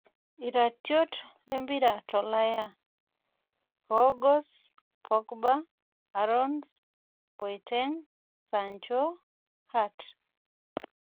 Itratiot lempira tolaya; Kroos, Pogba, Aarons, Boateng', sancho, hart